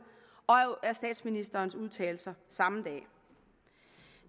og jo af statsministerens udtalelser samme dag